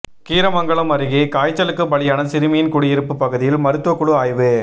கீரமங்கலம் அருகே காய்ச்சலுக்கு பலியான சிறுமியின் குடியிருப்பு பகுதியில் மருத்துவக்குழு ஆய்வு